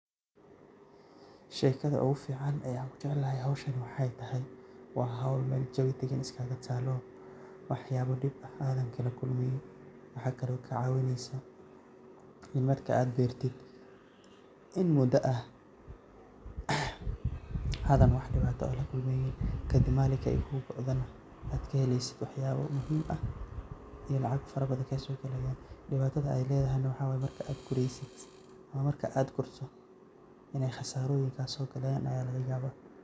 Sheekada ugu ficaan aan ku jaclahay howshan waxaay tahay waa howl meel jawi degan iskaga taalo waxyaabo dhib ah aadan kala kulmaynin. Waxaa kale kaa caawinaysaa in marka aad beertid in mudo ah aadan wax dhibaato eh la kulmaynin, kadib maalinka ay kuu go'dana aad ka helaysid waxyaabo muhiim ah iyo lacag farabadan kaa soo galayaan. Dhibaatada ay leedahayna waxaa waay marka aad guraysid ama marka aad gurto inay khasaarooyin kaa soo galayaan ayaa lag yaabaa.